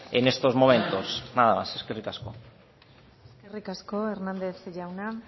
en estos momentos nada más eskerrik asko eskerrik asko hernández jauna